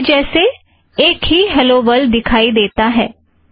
अब पहले जैसे एक ही हॆलो वर्लड दिखाई देता है